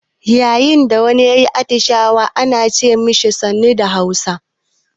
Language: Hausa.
Yayin da wani ya yi atishawa ana ce ma shi "sannu" da Hausa.